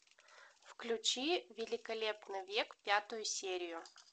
включи великолепный век пятую серию